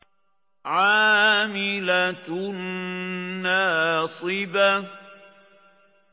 عَامِلَةٌ نَّاصِبَةٌ